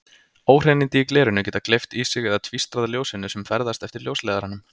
Óhreinindi í glerinu geta gleypt í sig eða tvístrað ljósinu sem ferðast eftir ljósleiðaranum.